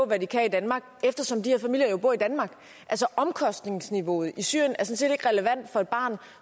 hvad de kan i danmark eftersom de her familier jo bor i danmark altså omkostningsniveauet i syrien er sådan set ikke relevant for et barn